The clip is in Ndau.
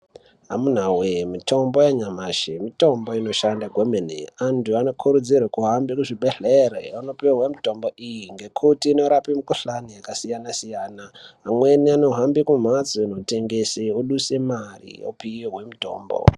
Amunawe mitombo yanyamashi mitombo inoshanda kwemene antu anokurudzirwa kuhambe kuzvibhedhlera anopihwe mitombo iyi ngekuti inorape mikhuhlani yakasiyana siyana amweni anohamba kumhatso inotengese oduse mare opihwe mitombo.